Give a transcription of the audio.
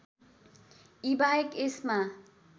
यी बाहेक यसमा